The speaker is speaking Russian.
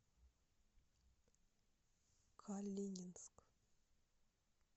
калининск